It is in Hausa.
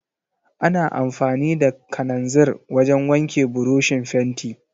Ana amfani da kananzir wajen wanke burushin fenti.